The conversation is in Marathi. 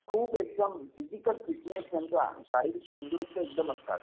खूप एकदम फिजिकल फिटनेस यांचा शारीरिक तंदरुस्त एकदम असतात.